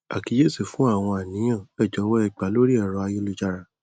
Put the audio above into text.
àkíyèsí fú àwọn àníyàn ẹ jọwọ ẹ gba lórí ẹrọ ayélujára